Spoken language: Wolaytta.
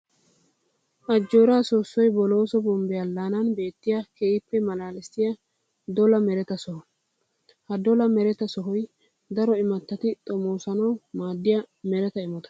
Ajjoora soossoy Bolooso bombbe alaanan beetiya keehippe malaalissiya dolla merata soho. Ha dolla meretta sohoy daro imatatti xomossanawu maadiya meretta imotta.